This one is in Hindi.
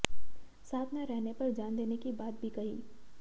साथ न रहने पर जान देने की बात भी कही